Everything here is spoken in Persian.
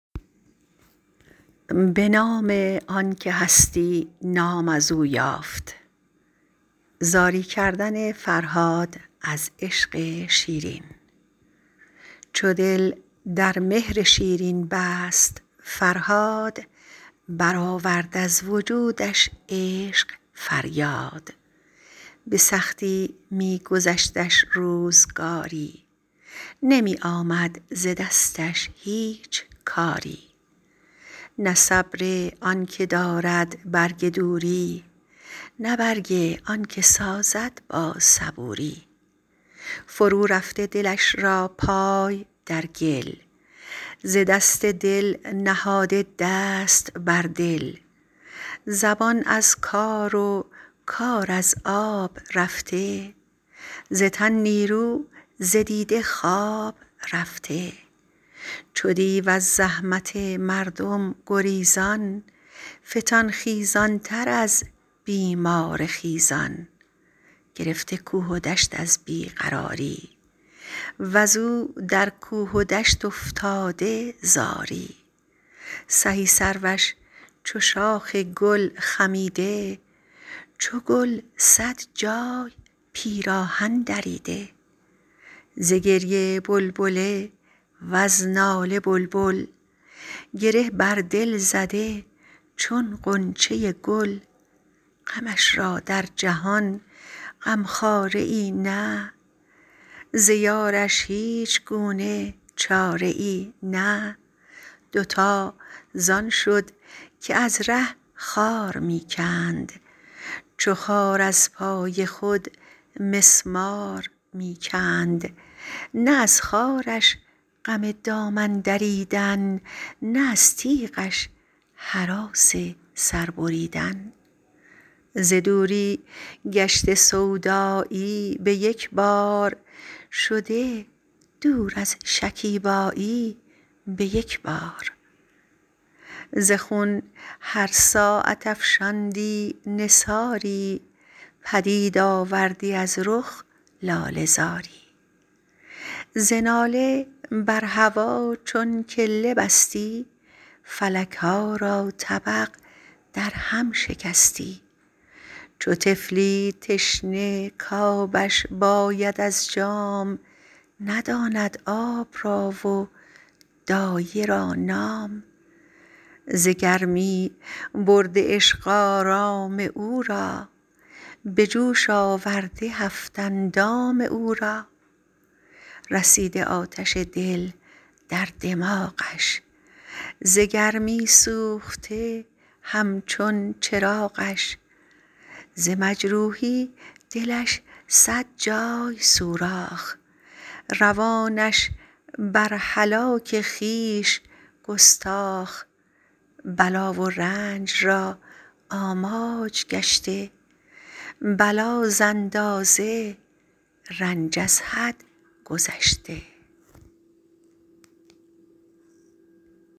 چو دل در مهر شیرین بست فرهاد برآورد از وجودش عشق فریاد به سختی می گذشتش روزگاری نمی آمد ز دستش هیچ کاری نه صبر آن که دارد برگ دوری نه برگ آن که سازد با صبوری فرورفته دلش را پای در گل ز دست دل نهاده دست بر دل زبان از کار و کار از آب رفته ز تن نیرو ز دیده خواب رفته چو دیو از زحمت مردم گریزان فتان خیزان تر از بیمار خیزان گرفته کوه و دشت از بی قراری وزو در کوه و دشت افتاده زاری سهی سروش چو شاخ گل خمیده چو گل صد جای پیراهن دریده ز گریه بلبله وز ناله بلبل گره بر دل زده چون غنچه گل غمش را در جهان غم خواره ای نه ز یارش هیچ گونه چاره ای نه دوتا زان شد که از ره خار می کند چو خار از پای خود مسمار می کند نه از خارش غم دامن دریدن نه از تیغش هراس سر بریدن ز دوری گشته سودایی به یک بار شده دور از شکیبایی به یک بار ز خون هر ساعت افشاندی نثاری پدید آوردی از رخ لاله زاری ز ناله بر هوا چون کله بستی فلک ها را طبق در هم شکستی چو طفلی تشنه کآبش باید از جام نداند آب را و دایه را نام ز گرمی برده عشق آرام او را به جوش آورده هفت اندام او را رسیده آتش دل در دماغش ز گرمی سوخته هم چون چراغش ز مجروحی دلش صد جای سوراخ روانش بر هلاک خویش گستاخ بلا و رنج را آماج گشته بلا ز اندازه رنج از حد گذشته چنان از عشق شیرین تلخ بگریست که شد آواز گریه ش بیست در بیست دلش رفته قرار و بخت مرده پی دل می دوید آن رخت برده چنان درمی رمید از دوست و دشمن که جادو از سپند و دیو از آهن غمش دامن گرفته و او به غم شاد چو گنجی کز خرابی گردد آباد ز غم ترسان به هشیاری و مستی چو مار از سنگ و گرگ از چوب دستی دلش نالان و چشمش زار و گریان جگر از آتش غم گشته بریان علاج درد بی درمان ندانست غم خود را سر و سامان ندانست فرومانده چنین تنها و رنجور ز یاران منقطع وز دوستان دور گرفته عشق شیرینش در آغوش شده پیوند فرهادش فراموش نه رخصت کز غمش جامی فرستد نه کس محرم که پیغامی فرستد گر از درگاه او گردی رسیدی به جای سرمه در چشمش کشیدی و گر در راه او دیدی گیایی ببوسیدی و برخواندی ثنایی به صد تلخی رخ از مردم نهفتی سخن شیرین جز از شیرین نگفتی چنان پنداشت آن دل داده مست که سوزد هر که را چون او دلی هست کسی کش آتشی در دل فروزد جهان یک سر چنان داند که سوزد چو بردی نام آن معشوق چالاک زدی بر یاد او صد بوسه بر خاک چو سوی قصر او نظاره کردی به جای جامه جان را پاره کردی چو وحشی توسن از هر سو شتابان گرفته انس با وحش بیابان ز معروفان این دام زبون گیر بر او گرد آمده یک دشت نخجیر یکی بالین گهش رفتی یکی جای یکی دامنش بوسیدی یکی پای گهی با آهوان خلوت گزیدی گهی در موکب گوران دویدی گهی اشک گوزنان دانه کردی گهی دنبال شیران شانه کردی به روزش آهوان دم ساز بودند گوزنانش به شب هم راز بودند نمودی روز و شب چون چرخ نآورد نخوردی و نیآشامیدی از درد بدآن هنجار که اول راه رفتی اگر ره یافتی یک ماه رفتی اگر بودیش صد دیوار در پیش ندیدی تا نکردی روی او ریش و گر تیری به چشمش درنشستی ز مدهوشی مژه بر هم نبستی و گر پیش آمدی چاهیش در راه ز بی پرهیزی افتادی در آن چاه دل از جان برگرفته وز جهان سیر بلا همراه در بالا و در زیر شبی و صد دریغ و ناله تا روز دلی و صد هزاران حسرت و سوز ره ار در کوی و گر در کاخ کردی نفیرش سنگ را سوراخ کردی نشاطی کز غم یارش جدا کرد به صد قهر آن نشاط از دل رها کرد غمی کآن با دلش دم ساز می شد دو اسبه پیش آن غم باز می شد ادیم رخ به خون دیده می شست سهیل خویش را در دیده می جست نخفت ار چند خوابش می ببایست که در بر دوستان بستن نشایست دل از رخت خودی بیگانه بودش که رخت دیگری در خانه بودش از آن بد نقش او شوریده پیوست که نقش دیگری بر خویشتن بست نیآسود از دویدن صبح تا شام مگر کز خویشتن بیرون نهد گام ز تن می خواست تا دوری گزیند مگر با دوست در یک تن نشیند نبود آگه که مرغش در قفس نیست به میدان شد ملک در خانه کس نیست چنان با اختیار یار درساخت که از خود یار خود را بازنشناخت اگر در نور و گر در نار دیدی نشان هجر و وصل یار دیدی ز هر نقشی که او را آمدی پیش به نیک اختر زدی فال دل خویش کسی در عشق فال بد نگیرد و گر گیرد برای خود نگیرد هر آن نقشی که آید زشت یا خوب کند بر کام خویش آن نقش منسوب به هر هفته شدی مهمان آن حور به دیداری قناعت کردی از دور دگر ره راه صحرا برگرفتی غم آن دل ستان از سر گرفتی شبان گاه آمدی مانند نخجیر وز آن حوضه بخوردی شربتی شیر جز آن شیر از جهان خوردی نبودش برون زآن حوض ناوردی نبودش به شب زآن حوض پایه هیچ نگذشت همه شب گرد پای حوض می گشت در آفاق این سخن شد داستانی فتاد این داستان در هر زبانی